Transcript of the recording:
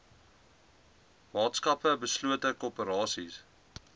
maatskappye beslote korporasies